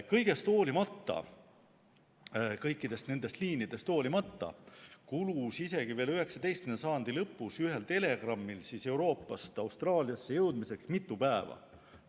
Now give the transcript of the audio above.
Kõigest hoolimata, kõikidest nendest liinidest hoolimata kulus isegi veel 19. sajandi lõpus ühel telegrammil Euroopast Austraaliasse jõudmiseks mitu päeva.